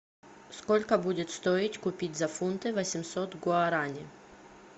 сколько будет стоить купить за фунты восемьсот гуараней